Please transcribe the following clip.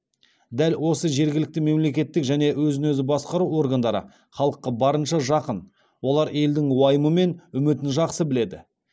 дәл осы жергілікті мемлекеттік және өзін өзі басқару органдары халыққа барынша жақын олар елдің уайымы мен үмітін жақсы біледі